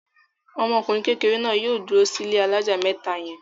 Ọmọkùnrin kékeré náà yóò dúró sí ilé alájà mẹ́ta yẹn!